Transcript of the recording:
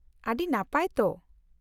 -ᱟᱹᱰᱤ ᱱᱟᱯᱟᱭ ᱛᱚ ᱾